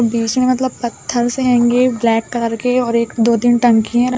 बीच में मतलब पत्थर से होंगे ब्लैक कलर के और एक दो तीन टंकियाँ --